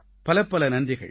பலப்பல நன்றிகள்